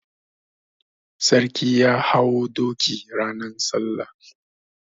Sarki ya hau doki ranan salla.